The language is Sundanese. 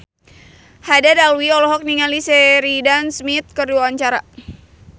Haddad Alwi olohok ningali Sheridan Smith keur diwawancara